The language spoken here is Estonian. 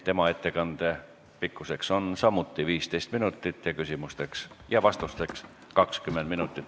Tema ettekande pikkus on samuti 15 minutit ning küsimusteks ja vastusteks on aega 20 minutit.